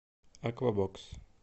аквабокс